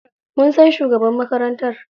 Mun san shugaban makarantar.